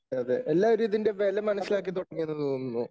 അതെ എല്ലാവരും ഇതിൻറെ വെല മനസ്സിലാക്കി തുടങ്ങിയെന്ന് തോന്നുന്നു.